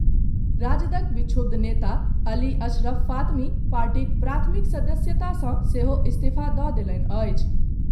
राजदक विक्षुब्ध नेता अली अशरफ फातमी पार्टीक प्राथमिक सदस्यता सॅ सेहो इस्तीफा दऽ देलनि अछि।